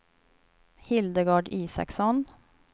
Hildegard Isaksson